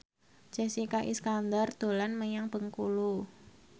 Jessica Iskandar dolan menyang Bengkulu